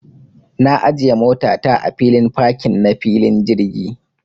Na ajiya mota ta a filin fakin na filin jirgi.